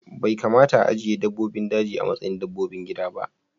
Bai kamata a ajiye dabbobin daji a matsayin dabbobin gida ba